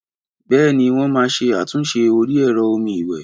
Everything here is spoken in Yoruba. Bèéní wọn ma ṣe àtúnṣe orí ẹ̀rọ omi ìwè